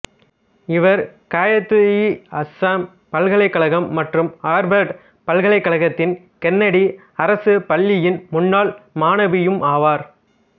இவர் காயித்இஅசாம் பல்கலைக்கழகம் மற்றும் ஆர்வர்ட் பல்கலைக்கழகத்தின் கென்னடி அரசுப் பள்ளியின் முன்னால் மாணவியுமாவார்